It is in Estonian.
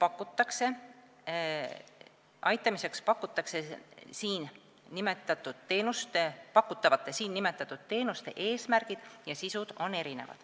" Inimese aitamiseks pakutavad siin nimetatud teenused on erineva eesmärgi ja sisuga.